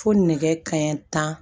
Fo nɛgɛ kanɲɛ tan